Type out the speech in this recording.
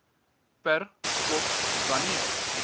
per skof wanneer